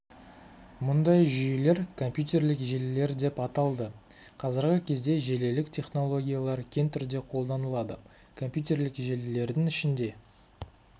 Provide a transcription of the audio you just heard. мұндай жүйелер компьютерлік желілер деп аталды қазіргі кезде желілік технологиялар кең түрде қолданылады компьютерлік желілердің ішінде